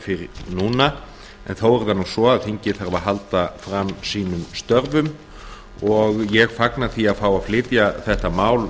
fyrir núna en þó er það nú svo að þingið þarf að halda fram sínum störfum og ég fagna því að fá að flytja þetta mál